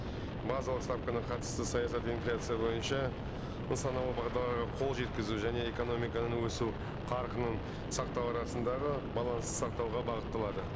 базалық ставканы қатысты саясат инфляция бойынша нысаналы бағдарларға қол жеткізу және экономиканың өсу қарқының сақату арасындағы балансты сақтауға бағытталады